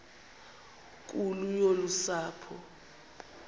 nkulu yolu sapho